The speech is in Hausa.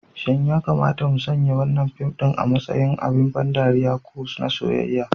Shin ya kamata mu sanya wannan fim ɗin a matsayin abin ban ɗariya ko na soyayya?